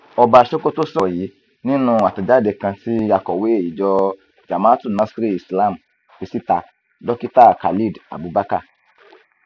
ọba sokoto sọrọ yìí nínú àtẹjáde kan tí akọwé ìjọ jamaatul nasríl islam fi síta dókítà khalid abubakar